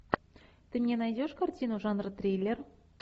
ты мне найдешь картину жанра триллер